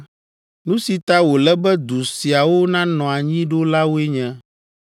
“Nu si ta wòle be du siawo nanɔ anyi ɖo la woe nye: